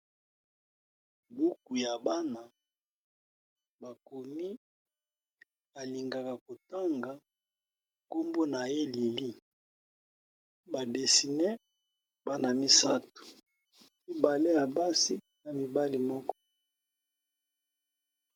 buku ya bana bakomi alingaka kotanga nkombo na ye lili badesine bana misato mibale ya basi na mibale moko